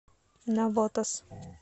навотас